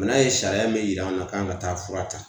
Bana ye sariya min yira an na k'an ka taa fura ta